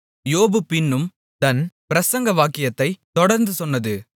யோபு பின்னும் தன் பிரசங்கவாக்கியத்தைத் தொடர்ந்து சொன்னது